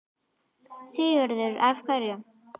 Sigurður: Af hverju?